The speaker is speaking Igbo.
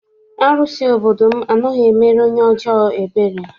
Arụsị obodo m anaghị emere onye ọjọọ ebere.